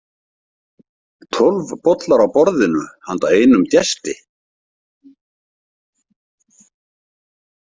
Tólf bollar á borðinu handa einum gesti.